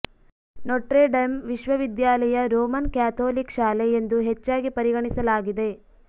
Notre Dame ವಿಶ್ವವಿದ್ಯಾಲಯ Roman Catholic ಶಾಲೆ ಎಂದು ಹೆಚ್ಚಾಗಿ ಪರಿಗಣಿಸಲಾಗಿದೆ